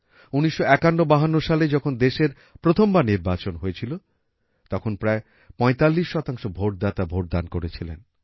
১৯৫১৫২ সালে যখন দেশের প্রথমবার নির্বাচন হয়েছিল তখন প্রায় ৪৫ শতাংশ ভোটদাতা ভোট দান করেছিলেন